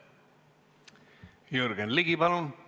Jürgen Ligi, palun!